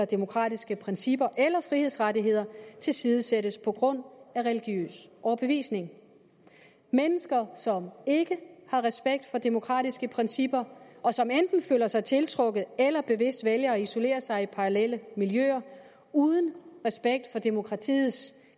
demokratiske principper eller frihedsrettigheder tilsidesættes på grund af religiøs overbevisning mennesker som ikke har respekt for demokratiske principper og som enten føler sig tiltrukket af eller bevidst vælger at isolere sig i parallelle miljøer uden respekt for demokratiets